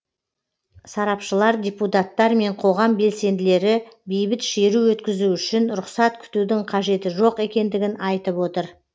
сарапшылар депутаттар мен қоғам белсенділері бейбіт шеру өткізу үшін рұқсат күтудің қажеті жоқ екендігін айтып отыр